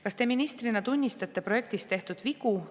"Kas Teie ministrina tunnistate projektis tehtud vigu?